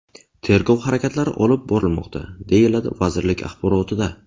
Tergov harakatlari olib borilmoqda”, deyiladi vazirlik axborotida.